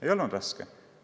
Ei olnud raske.